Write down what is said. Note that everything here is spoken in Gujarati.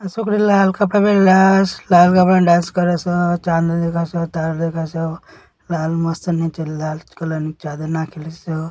આ સોકરી લાલ કપડાં પેરલાસ લાલ કપડાંમ ડાન્સ કરે સ લાલ મસ્ત નીચે લાલ કલર ની ચાદર નાખેલી સ.